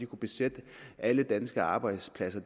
kunne besætte alle danske arbejdspladser